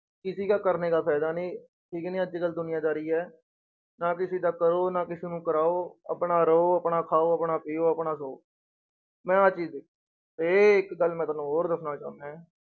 ਕਿਸੇ ਕਾ ਕਰਨੇ ਕਾ ਫ਼ਾਇਦਾ ਨੀ, ਠੀਕ ਨੀ ਅੱਜ ਕੱਲ੍ਹ ਦੁਨੀਆਂਦਾਰੀ ਹੈ, ਨਾ ਕਿਸੇ ਦਾ ਕਰੋ ਨਾ ਕਿਸੇ ਨੂੰ ਕਰਾਓ, ਆਪਣਾ ਰਹੋ, ਆਪਣਾ ਖਾਓ, ਆਪਣਾ ਪੀਓ, ਆਪਣਾ ਸੋਓ ਮੈਂ ਆਹ ਚੀਜ਼ ਦੇ~ ਇਹ ਇੱਕ ਗੱਲ ਮੈਂ ਤੁਹਾਨੂੰ ਹੋਰ ਦੱਸਣਾ ਚਾਹੁਨਾ ਹੈ,